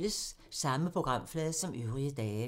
Samme programflade som øvrige dage